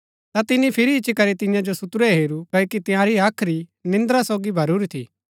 ता तिनी फिरी इच्ची करी तियां जो सुतुरै हेरू क्ओकि तंयारी हाख्री निन्द्रा सोगी भरूरी थी